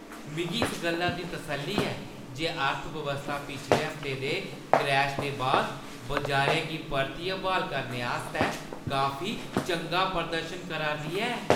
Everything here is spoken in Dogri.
मिगी इस गल्ला दी तसल्ली ऐ जे अर्थव्यवस्था पिछले हफ्ते दे क्रैश दे बाद बजारै गी परतियै ब्हाल करने आस्तै काफी चंगा प्रदर्शन करा 'रदी ऐ।